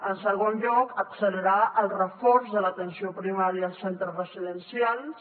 en segon lloc accelerar el reforç de l’atenció primària als centres residencials